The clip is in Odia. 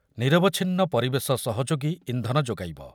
ନିରବଚ୍ଛିନ ପରିବେଶ ସହଯୋଗୀ ଇନ୍ଧନ ଯୋଗାଇବ ।